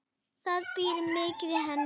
Það býr mikið í henni.